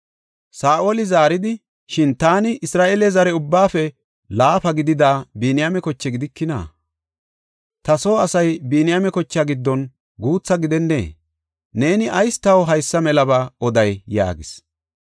Saa7oli zaaridi, “Shin taani Isra7eele zare ubbaafe laafa gidida Biniyaame koche gidikina? Ta soo asay Biniyaame kochaa giddon guutha gidennee? Neeni ayis taw haysa melaba oday?” yaagis.